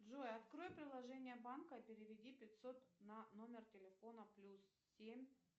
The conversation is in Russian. джой открой приложение банка переведи пятьсот на номер телефона плюс семь